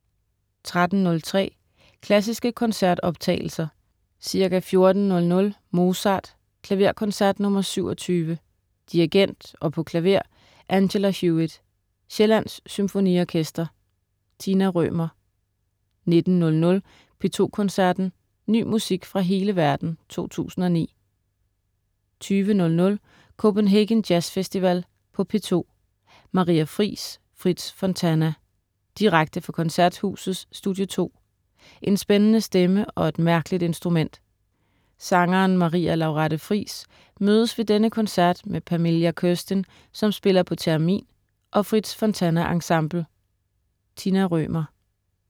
13.03 Klassiske koncertoptagelser. Ca. 14.00 Mozart: Klaverkoncert nr. 27. Dirigent og på klaver: Angela Hewitt. Sjællands Symfoniorkester. Tina Rømer 19.00 P2 Koncerten. Ny musik fra hele verden 2009 20.00 Copenhagen Jazz Festival på P2. Maria Friis/Fritz Fontana. Direkte fra Koncerthusets Studie 2. En spændende stemme og et mærkeligt instrument. Sangeren Maria Laurette Friis mødes ved denne koncert med Pamelia Kurstin, som spiller på theremin, og Fritz Fontana Ensemble. Tina Rømer